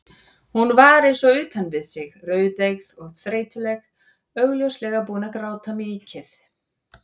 Hún var eins og utan við sig, rauðeygð og þreytuleg, augljóslega búin að gráta mikið.